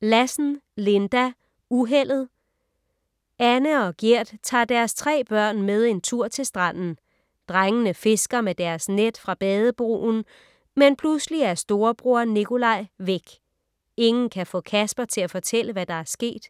Lassen, Linda: Uheldet Anne og Gert tager deres 3 børn med en tur til stranden. Drengene fisker med deres net fra bade-broen. Men pludselig er storebror, Nikolaj, væk. Ingen kan få Kasper til at fortælle, hvad der er sket.